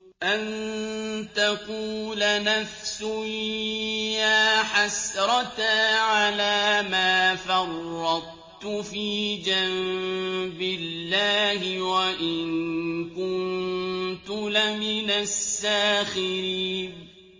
أَن تَقُولَ نَفْسٌ يَا حَسْرَتَا عَلَىٰ مَا فَرَّطتُ فِي جَنبِ اللَّهِ وَإِن كُنتُ لَمِنَ السَّاخِرِينَ